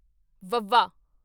ਵਾਵਾ